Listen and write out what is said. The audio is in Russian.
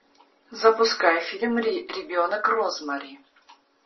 запускай фильм ребенок розмари